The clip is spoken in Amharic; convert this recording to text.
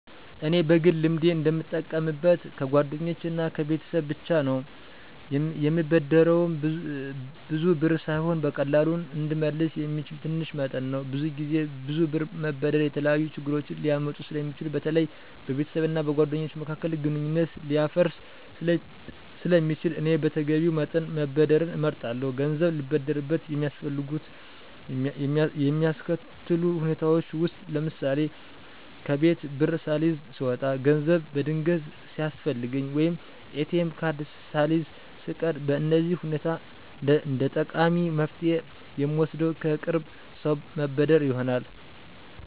እኔ በግል ልምዴ እንደምጠቀምበት ከጓደኞቼ እና ከቤተሰብ ብቻ ነው፤ የምበደረውም ብዙ ብር ሳይሆን በቀላሉ እንድመለስ የሚችለው ትንሽ መጠን ነው። ብዙ ጊዜ ብዙ ብር መበደር የተለያዩ ችግሮችን ሊያመጣ ስለሚችል በተለይ በቤተሰብ እና በጓደኞች መካከል ግንኙነት ሊያፈርስ ስለሚችል እኔ በተገቢው መጠን መበደርን እመርጣለሁ። ገንዘብ ልበደርበት የሚያስከትሉ ሁኔታዎች ውስጥ ለምሳሌ፣ ከቤት ብር ሳልይዝ ስወጣ፣ ገንዘብ በድንገት ሲያስፈልገኝ፣ ወይም ATM ካርድ ሳልይዝ ስቀር በእነዚህ ሁኔታ እንደጠቃሚ መፍትሄ የምወስደው ከቅርብ ሰው መበደር ይሆናል።